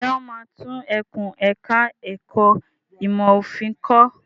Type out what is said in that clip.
Ṣé wọ́n máa tún ẹkùn ẹ̀ka ẹ̀kó ìmọ̀ òfin kọ́?